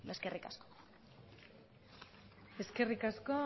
eskerrik asko eskerrik asko